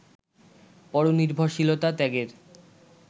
পরনির্ভরশীলতা ত্যাগের